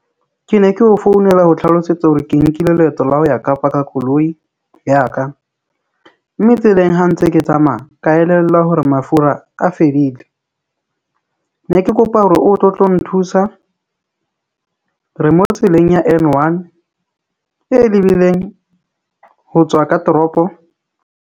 Ke ne ke o founela ho tlhalosetsa hore ke nkile leeto la ho ya Kapa ka koloi ya ka mme tseleng ha ntse ke tsamaya ka elellwa hore mafura a fedile. Ne ke kopa hore o tle o tlo nthusa. Re mo tseleng ya N1 e lebileng ho tswa ka toropo.